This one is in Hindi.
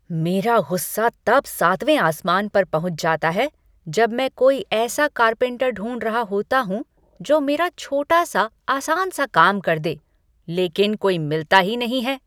मेरा गुस्सा तब सातवें आसमान पर पहुंच जाता है, जब मैं कोई ऐसा कारपेंटर ढूंढ रहा होता हूँ, जो मेरा छोटा सा आसान काम कर दे, लेकिन कोई मिलता ही नहीं है।